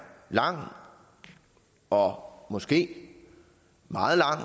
lang og måske